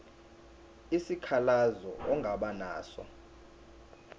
isikhalazo ongaba naso